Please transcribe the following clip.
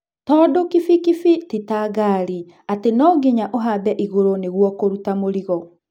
Tondũ, kibikibi ti tangari atĩ nonginya ũhambe igũrũ nĩguo kũruta mũrigo.